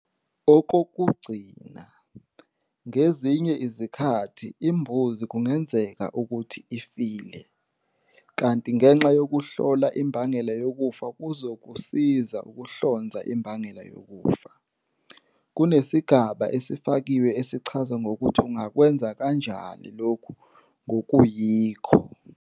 Okokugcina, ngezinye izikhathi imbuzi kungenzeka ukuthi ifile, kanti ngenxa yokuhlola imbangela yokufa kuzokusiza ukuhlonza imbangela yokufa, kunesigaba esifakiwe esichaza ngokuthi ungakwenza kanjani lokhu ngokuyikho.